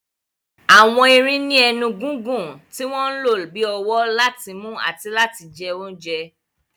Àwọn erin ní ẹnu gígùn tí wọ́n ń lò bí ọwọ́ láti mú àti láti jẹ oúnjẹ.